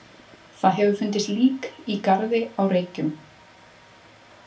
Það hefur fundist lík í garði á Reykjum.